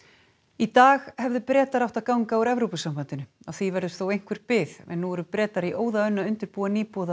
í dag hefðu Bretar átt að ganga úr Evrópusambandinu á því verður þó einhver bið en nú eru Bretar í óðaönn að undirbúa nýboðaðar